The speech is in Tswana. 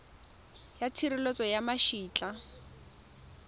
ya tshireletso ya ma etla